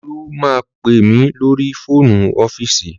Olú máa pè mí lórí fóònù ọ́fíìsì